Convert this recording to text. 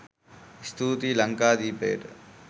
ස්තූතියි ලංකාදීපයට.